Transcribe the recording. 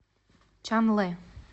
чанлэ